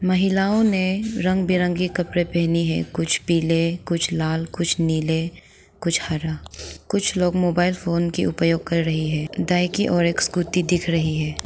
महिलाओं ने रंग बिरंगी कपड़े पहनी है कुछ पीले कुछ लाल कुछ नीले कुछ हरा कुछ लोग मोबाइल फोन की उपयोग कर रही है दाई की ओर एक स्कूटी दिख रही है।